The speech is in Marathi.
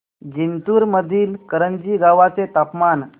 जिंतूर मधील करंजी गावाचे तापमान